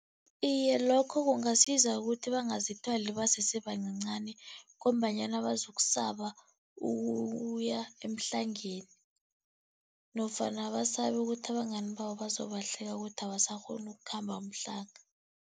Iye, lokho kungasiza ukuthi bangazithwali basesebancancani ngombanyana bazokusaba ukuya emhlangeni nofana basabe ukuthi abangani babo bazobahleka ukuthi abasakghoni ukukhamba umhlanga.